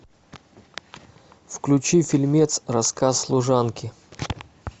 включи фильмец рассказ служанки